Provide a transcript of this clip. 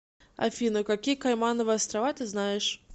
афина какие каймановы острова ты знаешь